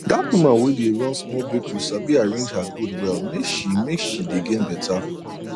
that woman wey dey run small bakery sabi arrange her goods well make she make she dey gain better